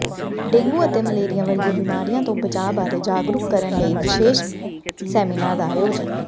dengue ਅਤੇ malaria ਵਰਗੀਆਂ ਬਿਮਾਰੀਆਂ ਤੋਂ ਬਚਾਅ ਬਾਰੇ ਜਾਗਰੂਕ ਕਰਨ ਲਈ ਵਿਸ਼ੇਸ਼ ਸੈਮੀਨਾਰ ਦਾ ਆਯੋਜਨ